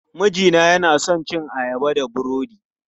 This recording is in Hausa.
Mijina yana son cin ayaba da burodi.